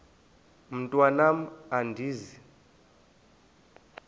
mntwan am andizi